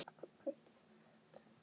Það gat ekki boðað gott.